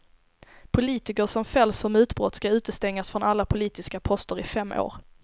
Politiker som fälls för mutbrott ska utestängas från alla politiska poster i fem år.